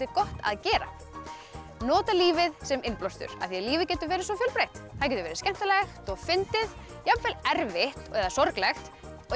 gott að gera nota lífið sem innblástur af því lífið getur verið svo fjölbreytt það getur verið skemmtilegt og fyndið jafnvel erfitt eða sorglegt